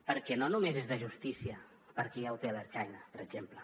perquè no només és de justícia perquè ja ho té l’ertzaintza per exemple